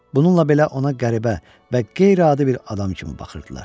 Bununla belə ona qəribə və qeyri-adi bir adam kimi baxırdılar.